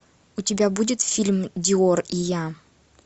у тебя будет фильм диор и я